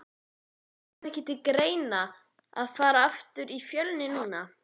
Kom ekki til greina að fara aftur í Fjölni núna?